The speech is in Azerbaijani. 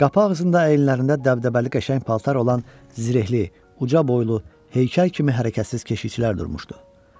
Qapı ağzında əynilərində dəbdəbəli qəşəng paltar olan zirəhli, uca boylu, heykəl kimi hərəkətsiz keşişçilər durmuşdu.